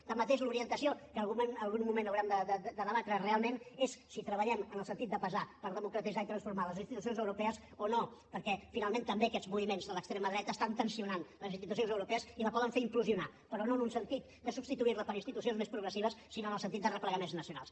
tanmateix l’orientació que algun moment haurem de debatre realment és si treballem en el sentit de pesar per democratitzar i transformar les institucions europees o no perquè finalment també aquests moviments de l’extrema dreta estan tensant les institucions europees i la poden fer implosionar però no en un sentit de substituir la per institucions més progressives sinó en el sentit de replegaments nacionals